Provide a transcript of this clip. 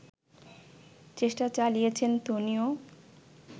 চেষ্টা চালিয়েছেন ধোনিও